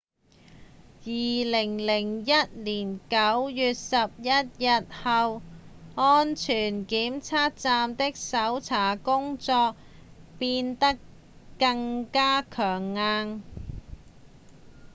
2001年9月11日之後安全檢查站的搜查工作變得更加強硬